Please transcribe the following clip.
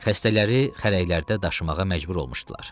Xəstələri xərəklərdə daşımağa məcbur olmuşdular.